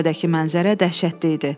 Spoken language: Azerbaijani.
Zirvədəki mənzərə dəhşətli idi.